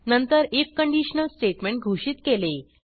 नंतर IF conditional statement घोषित केले